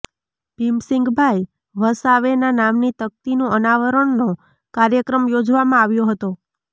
ભીમસિંગભાઇ વસાવેના નામની તકતીનું અનાવરણનો કાર્યક્રમ યોજવામાં આવ્યો હતો